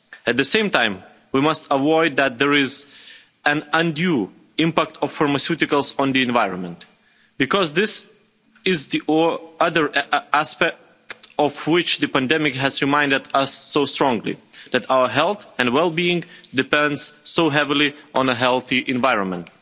At the same time, we must avoid that there is an undue impact of pharmaceuticals on the environment, because this is the other aspect of which the pandemic has reminded us so strongly that our health and well-being depends so heavily on a healthy environment.